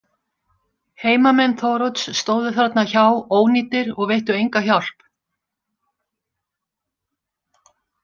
Heimamenn Þórodds stóðu þarna hjá ónýtir og veittu enga hjálp.